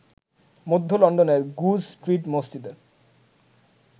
মধ্য লন্ডনের Goodge Street মসজিদের